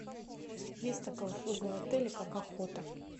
есть такая услуга в отеле как охота